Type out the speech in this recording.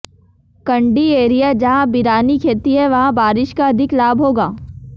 कंडी area जहां बिरानी खेती है वहां बारिश का अधिक लाभ होगा